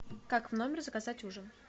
как в номер заказать ужин